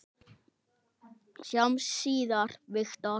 Sjáumst síðar, Viktor.